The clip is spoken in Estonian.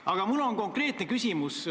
Aga mul on konkreetne küsimus.